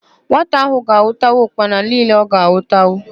Nwata ahụ ga-anwụta ụkpana niile ọ ga-anwụtanwu.